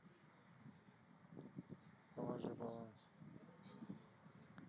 положи баланс